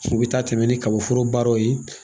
U bɛ taa tɛmɛ ni kabaforo baaraw ye.